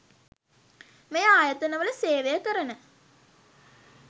මේ ආයතන වල සේවය කරන